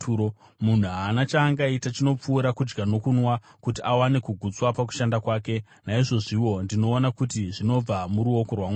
Munhu haana chaangaita chinopfuura kudya nokunwa kuti awane kugutswa pakushanda kwake. Naizvozviwo, ndinoona kuti zvinobva muruoko rwaMwari,